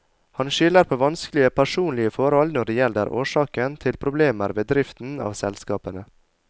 Han skylder på vanskelige personlige forhold når det gjelder årsaken til problemer ved driften av selskapene.